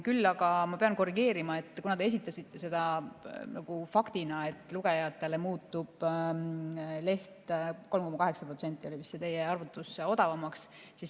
Küll aga pean korrigeerima seda, mida te esitasite faktina, et lugejatele muutub leht teie arvutuse järgi 3,8% odavamaks.